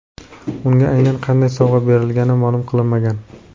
Unga aynan qanday sovg‘a berilgani ma’lum qilinmagan.